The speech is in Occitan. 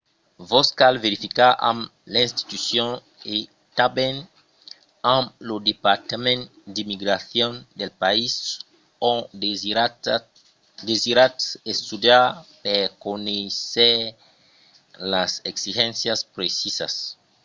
vos cal verificar amb l'institucion e tanben amb lo departament d'immigracion del país ont desiratz estudiar per conéisser las exigéncias precisas